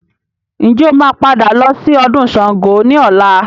Ǹjẹ́ o máa padà lọ sí ọdún Sángo ni ọ̀la?